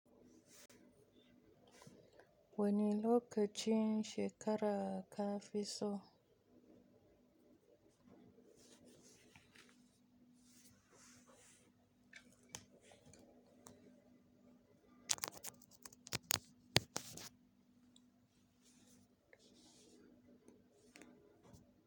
Wani lokacin shekara ka fi so.